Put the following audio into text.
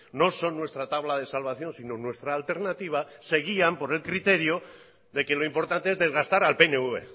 no son nuestra tabla de salvación sino nuestra alternativa seguían por el criterio de que lo importante es desgastar al pnv